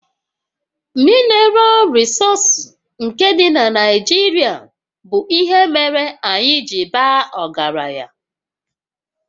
Minaral rịsọọsụ dị na Naijirịa bụ ihe mere anyị ji baa ọgaranya